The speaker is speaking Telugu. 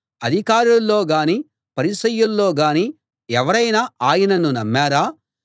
అధికారుల్లో గానీ పరిసయ్యుల్లో గానీ ఎవరైనా ఆయనను నమ్మారా